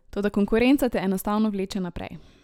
Toda konkurenca te enostavno vleče naprej.